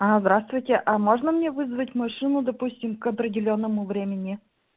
а здравствуйте а можно мне вызвать машину допустим к определённому времени